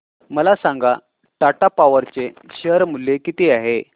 मला सांगा टाटा पॉवर चे शेअर मूल्य किती आहे